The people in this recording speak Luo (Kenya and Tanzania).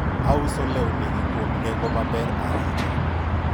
auso lewni gi kuom nengo maber ahinya